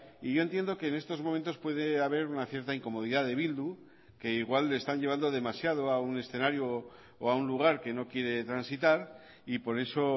y yo entiendo que en estos momentos puede haber una cierta incomodidad de bildu que igual están llevando demasiado a un escenario o a un lugar que no quiere transitar y por eso